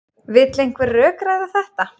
Vill einhver rökræða þetta?